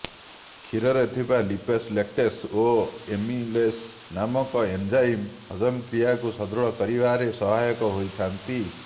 କ୍ଷୀରରେ ଥିବା lipase lactase ଓ ଏମିଲେସ ନାମକ ଏନଞ୍ଚାଇମ ହଜମ କ୍ରିୟାକୁ ସୁଦୃଢ କରିବାରେ ସହାୟକ ହୋଇଥାଆନ୍ତି